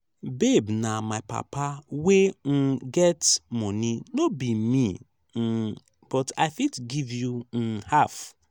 babe na my papa wey um get money no be me um but i fit give you um half